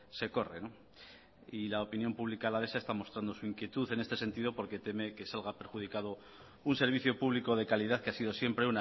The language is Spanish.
se corre y la opinión pública alavesa está mostrando su inquietud en este sentido porque teme que salga perjudicado un servicio público de calidad que ha sido siempre